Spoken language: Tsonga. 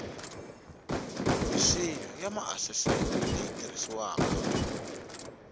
minsinya ya maasesele leyi tirhisiwaka